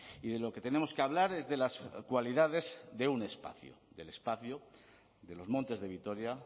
y de lo que tenemos que hablar es de las cualidades de un espacio del espacio de los montes de vitoria